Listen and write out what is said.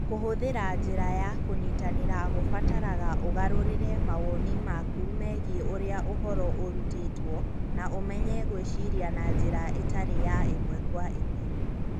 Kũhũthĩra njĩra ya kũnyitanĩra kũbataraga ũgarũrĩre mawoni maku megiĩ ũrĩa ũhoro ũrutĩtwo na ũmenye gwĩciria na njĩra ĩtarĩ ya ĩmwe kwa ĩmwe.